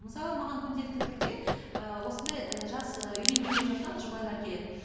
мысалы маған күнделікті түрде ыыы осындай ы жас ы үйленейін деп жатқан жұбайлар келеді